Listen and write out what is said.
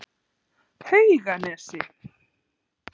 Hauganesi